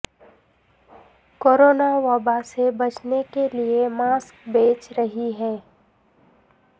corona وبا سے بچنے کے لئے ماسک بھیج رہی ہیں